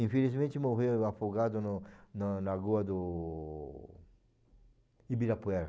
Infelizmente morreu afogado no na lagoa do Ibirapuera.